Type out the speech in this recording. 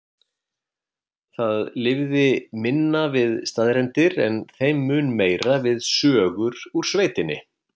Þið lifið minna við staðreyndir en þeim mun meira við sögur úr sveitinni.